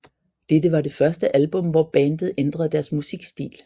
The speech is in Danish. Dette var det første album hvor bandet ændrede deres musikstil